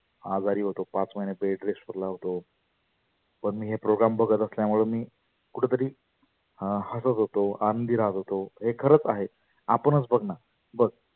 आजारी होतो पाच महिने bed rest ला होतो. ऱ्या पण मी हे program बघत आसल्यामुळ मी कुठतरी हसत होतो आनंदी राहत होतो हे खरच आहे. आपणच बघना बघ